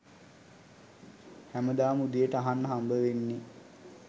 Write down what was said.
හැමදාම උදේට අහන්න හම්බවෙන්නේ